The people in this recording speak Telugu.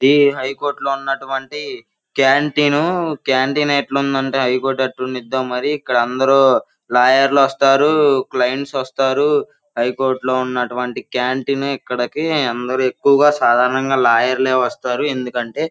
ఇది హై కోర్ట్ లో ఉన్నటువంటి కాంటీన్ కాంటీన్ ఎట్లుందిఅంటే హై కోర్ట్ హై కోర్ట్ ఎట్లుండిద్దొ మరి ఇక్కడ అందరు లాయర్లో వస్తారు క్లయింట్స్ వస్తారు హై కోర్ట్ లో ఉన్నటువంటి కాంటీన్ ఇక్కడకి అందరూ ఎక్కువుగా సాదారణంగా లాయర్ లే వస్తారు ఎందుకంటే --